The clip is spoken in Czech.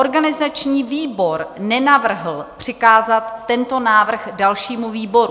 Organizační výbor nenavrhl přikázat tento návrh dalšímu výboru.